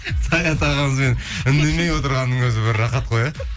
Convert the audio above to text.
саят ағамызбен үндемей отырғанның өзі бір рахат қой иә